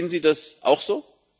Sehen Sie das auch so?